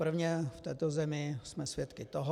Prvně v této zemi jsme svědky toho...